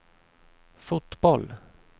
fotboll